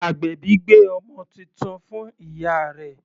Agbèbí gbé ọmọ titun fún ìyá rẹ̀